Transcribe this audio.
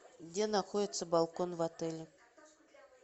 где находится балкон в отеле